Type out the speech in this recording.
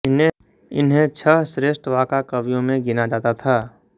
इन्हें छः श्रेष्ठ वाका कवियों में गिना जाता था